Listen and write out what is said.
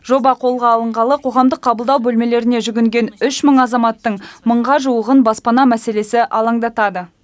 жоба қолға алынғалы қоғамдық қабылдау бөлмелеріне жүгінген үш мың азаматтың мыңға жуығын баспана мәселесі алаңдатады